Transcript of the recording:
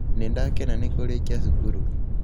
Nĩ ndakena nĩ kũrĩkia cukuru.